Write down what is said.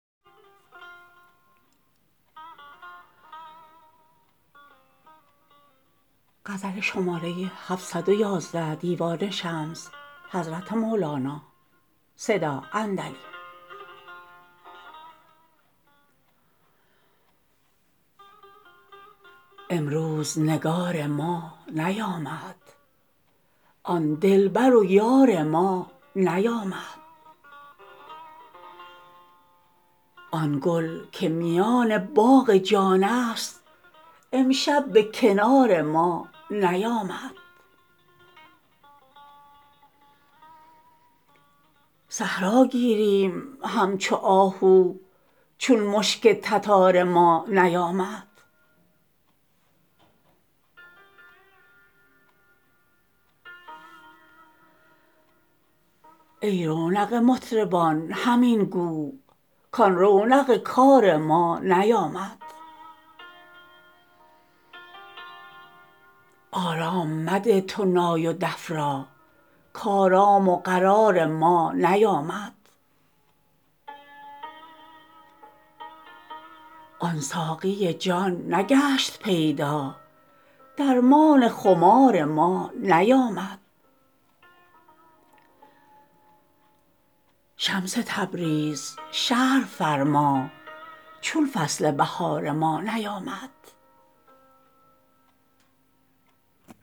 امروز نگار ما نیامد آن دلبر و یار ما نیامد آن گل که میان باغ جانست امشب به کنار ما نیامد صحرا گیریم همچو آهو چون مشک تتار ما نیامد ای رونق مطربان همین گو کان رونق کار ما نیامد آرام مده تو نای و دف را کآرام و قرار ما نیامد آن ساقی جان نگشت پیدا درمان خمار ما نیامد شمس تبریز شرح فرما چون فصل بهار ما نیامد